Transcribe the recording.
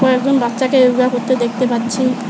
কয়েকজন বাচ্চাকে যোগা করতে দেখতে পাচ্ছি।